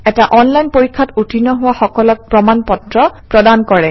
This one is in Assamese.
এটা অনলাইন পৰীক্ষাত উত্তীৰ্ণ হোৱা সকলক প্ৰমাণ পত্ৰ প্ৰদান কৰে